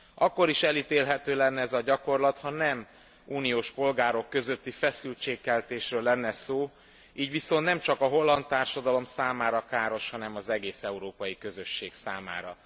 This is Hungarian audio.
Akkor is elítélhető lenne ez a gyakorlat, ha nem uniós polgárok közötti feszültségkeltésről lenne szó, így viszont nemcsak a holland társadalom számára káros, hanem az egész európai közösség számára.